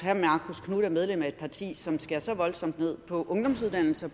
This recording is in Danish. knuth er medlem af et parti som skærer så voldsomt ned på ungdomsuddannelser